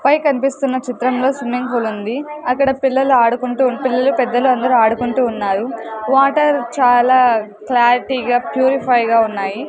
పై కనిపిస్తున్న చిత్రంలో swimming pool ఉంది అక్కడ పిల్లలు ఆడుకుంటూ ఉంటూ పిల్లలు పెద్దలు ఆడుకుంటూ ఉన్నారు వాటర్ చాలా క్లారిటీ గా పురిఫియర్ గా ఉన్నాయి.